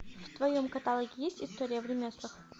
в твоем каталоге есть история в ремеслах